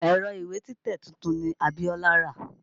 Ẹ̀rọ ìwé títẹ̀ tuntun ni Abiọ́lá rà.